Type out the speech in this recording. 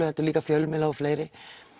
heldur líka fjölmiðla og fleiri